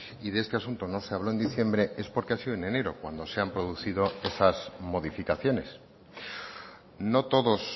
y de este asunto no se habló en diciembre es porque ha sido en enero cuando se han producido esas modificaciones no todos